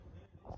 İndi də.